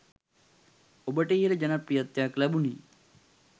ඔබට ඉහළ ජනප්‍රියත්වයක් ලැබුණේ